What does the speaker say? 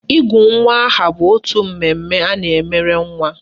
Ịgụ nwa aha bụ otu mmemme a na-emere nwa